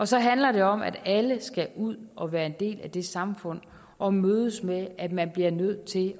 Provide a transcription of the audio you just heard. så handler det om at alle skal ud og være en del af det samfund og mødes med at man bliver nødt til